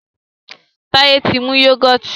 Taye tí mú yugọti